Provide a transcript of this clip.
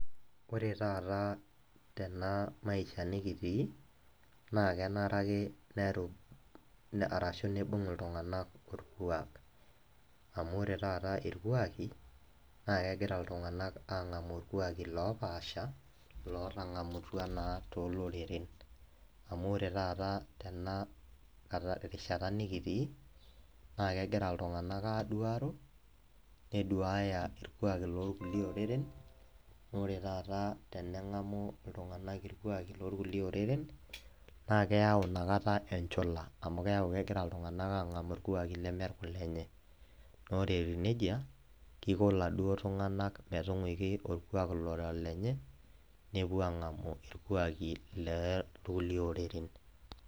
Kore taata tenamaisha nikitii, na kenare ake nerub arashu nibung' iltung'anak orkuak. Amu ore taata irkuaki, na kegira iltung'anak ang'amu irkuaki lopaasha, lotang'amutua naa toloreren. Amu ore taata tena rishata nikitii, na kegira iltung'anak aduaro, neduaya irkuaki lorkulie oreren, nore taata teneng'amu iltung'anak irkuaki lorkulie oreren, na keyau nakata enchula. Amu keeku kegira iltung'anak ang'amu irkuaki leme irkulenye. Nore etiu nejia, kiko laduo tung'anak metung'uiki orkuak lora olenye, nepuo ang'amu irkuaki lekulie oreren.